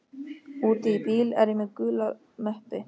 úti í bíl er ég með gula möppu.